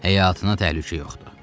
Həyatına təhlükə yoxdur.